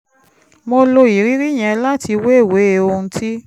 mo lo ìrírí yẹn láti wéwèé ohun tí